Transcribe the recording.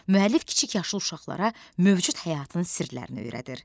Müəllif kiçik yaşlı uşaqlara mövcud həyatının sirlərini öyrədir.